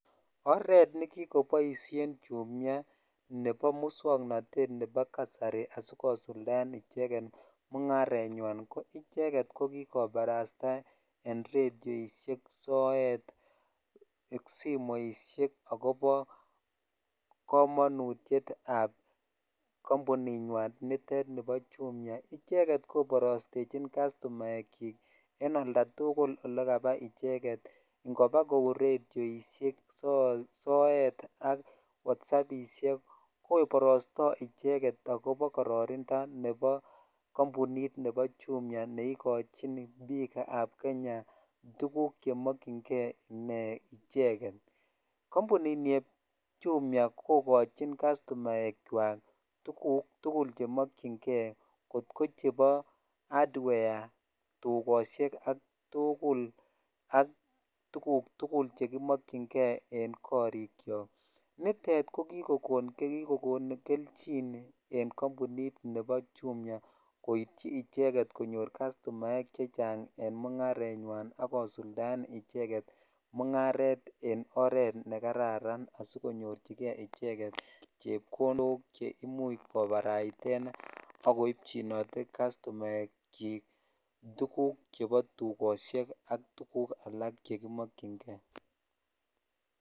Oret ne kokoboisien chumia nebo muswoknotet nebovkasari asikosuldaen icheket mungarenywan ko icheket ko kikobarasta en redioishek ,sometimes ak simoishekksmonutyet notet nebo kampuninywan nebo chumia akobo icheket koborostechin kastumaak chik an oldatukul olekabaa ikobaa kou redoishek sometimes ak Whatsappishek koborosto icheket akobo kororindo nebo kampunit nebo chumia ne ikochin bik ab Kenya tuguk chemokyin ke icheket kampunini bo chumia kokochin custumaak chwak tuguk tukul chemokyin kei kot ko chebo hardware tukoshek ak tuguk tukul chekimokyin kei en korik chok nitet ko kikon kelchin en kampunit nebo chumia kityi icheket konyor castumaak chechang en mungarenywan ak kosuldaen icheket mungaret en oret ne kararan asikonyorchikei icheket chepkondok che imuch koparaiten ak koipchinotee castumask chik tuguk chebo tukoshek St tuguk slake chekimokyin kei.